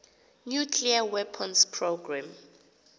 nuclear weapons program